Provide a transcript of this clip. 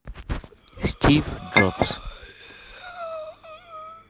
стив джобс